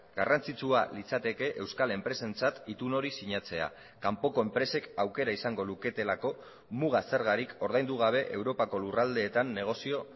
garrantzitsua litzateke euskal enpresentzat itun hori sinatzea kanpoko enpresek aukera izango luketelako muga zergarik ordaindu gabe europako lurraldeetan negozio